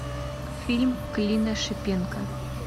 фильм клима шипенко